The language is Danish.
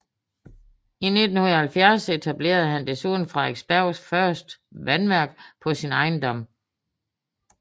I 1870 etablerede han desuden Frederiksbergs første vandværk på sin ejendom